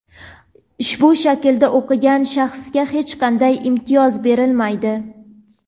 ushbu shaklda o‘qigan shaxsga hech qanday imtiyoz berilmaydi.